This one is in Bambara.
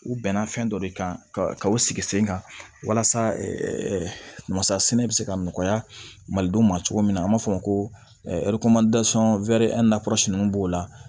U bɛnna fɛn dɔ de kan ka ka u sigi sen kan walasa masa sɛnɛ bɛ se ka nɔgɔya malidenw ma cogo min na an b'a fɔ o ma ko ninnu b'o la